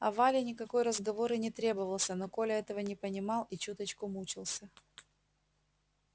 а вале никакой разговор и не требовался но коля этого не понимал и чуточку мучился